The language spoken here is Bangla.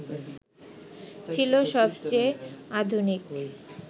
ছিল সবচেয়ে আধুনিক